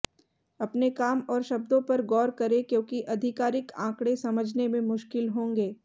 अपने काम और शब्दों पर गौर करें क्योंकि आधिकारिक आंकड़े समझने में मुश्किल होंगे